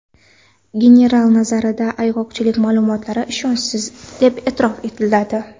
General nazarida ayg‘oqchilik ma’lumotlari ishonchsiz deb e’tirof etiladi.